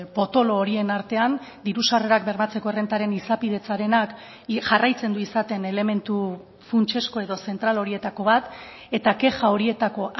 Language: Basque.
potolo horien artean diru sarrerak bermatzeko errentaren izapidetzarenak jarraitzen du izaten elementu funtsezko edo zentral horietako bat eta kexa horietako